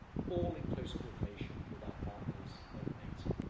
all in close coordination with our partners at NATO.